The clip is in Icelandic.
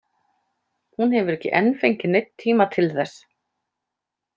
Hún hefur ekki enn fengið neinn tíma til þess.